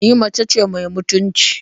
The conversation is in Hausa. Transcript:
Ni mace ce mai mutunci.